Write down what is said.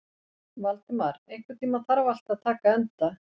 Valdimar, einhvern tímann þarf allt að taka enda.